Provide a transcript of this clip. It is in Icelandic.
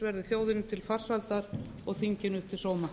verði þjóðinni til farsældar og þinginu til sóma